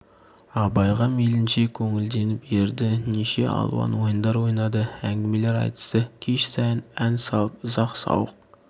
абайға мейлінше көңілденіп ерді неше алуан ойындар ойнады әңгімелер айтысты кеш сайын ән салып ұзақ сауық